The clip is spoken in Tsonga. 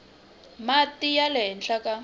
mati ya le henhla ka